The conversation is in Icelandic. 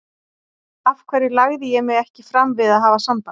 Af hverju lagði ég mig ekki fram við að hafa samband?